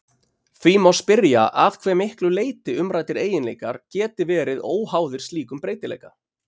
Því má spyrja að hve miklu leyti umræddir eiginleikar geti verið óháðir slíkum breytileika.